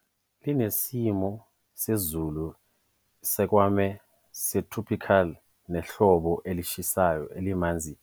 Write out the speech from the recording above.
Idolobha linesimo sezulu esiswakeme se-subtropical, nehlobo elishisayo, elimanzi